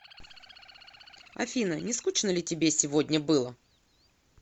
афина не скучно ли тебе сегодня было